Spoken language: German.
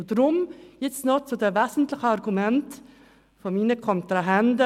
Nun komme ich zu den wesentlichen Argumenten meiner Kontrahenten.